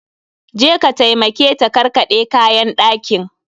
Je ka taimake ta karkaɗe kayan ɗakin!